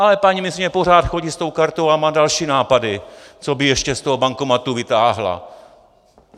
Ale paní ministryně pořád chodí s tou kartou a má další nápady, co by ještě z toho automatu vytáhla.